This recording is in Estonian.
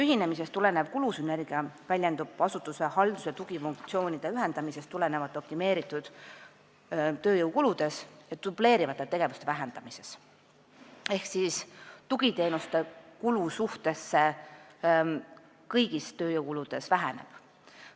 Ühinemisest tulenev kulusünergia väljendub asutuse haldus- ja tugifunktsioonide ühendamisest tulenevalt optimeeritud tööjõukuludes ja dubleerivate tegevuste vähendamises ehk tugiteenuste kulu suhtena kõigisse tööjõukuludesse väheneb.